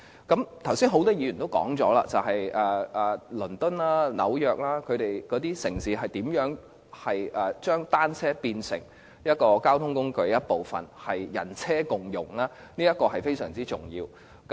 剛才很多議員也談到倫敦和紐約這些城市如何將單車變成一種交通工具，達致人車共融，這是非常重要的。